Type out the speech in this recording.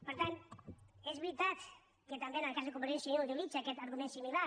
per tant és veritat que també en el cas de convergència i unió utilitza arguments similars